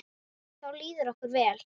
Þá líður okkur vel.